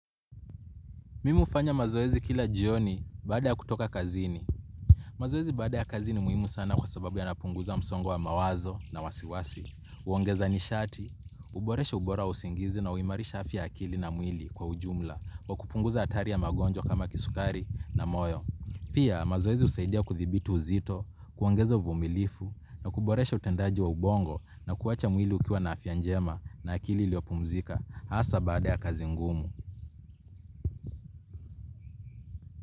Mimi hufanya mazoezi kila jioni baada ya kutoka kazini. Mazoezi baada ya kazi ni muhimu sana kwa sababu yanapunguza msongo wa mawazo na wasiwasi. Huongeza nishati, uboresha ubora wa usingizi na uimarisha afya ya akili na mwili kwa ujumla wa kupunguza atari ya magonjwa kama kisukari na moyo. Pia mazoezi husaidia kuthibiti uzito, kuongeza uvumilifu na kuboresha utendaji wa ubongo na kuacha mwili ukiwa na afya njema na akili iliopumzika hasa baada ya kazi ngumu.